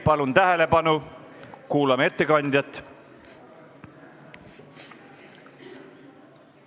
Palun tähelepanu, kuulame ettekandjat!